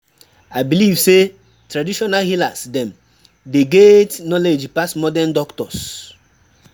I believe sey traditional healers dem dey get knowledge pass modern doctors.